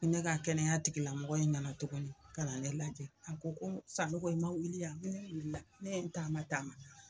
Ne ka kɛnɛya tigilamɔgɔ in nana tuguni kana ne lajɛ a ko ko Sanogo i ma wili a, ne wulila ne ye n taama taama.